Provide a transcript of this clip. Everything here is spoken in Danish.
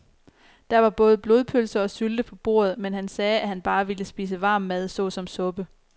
Der var både blodpølse og sylte på bordet, men han sagde, at han bare ville spise varm mad såsom suppe.